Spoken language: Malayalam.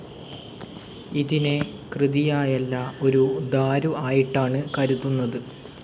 ഇതിനെ കൃതിയായല്ല ഒരു ദാരു ആയിട്ടാണ് കരുതുന്നത്.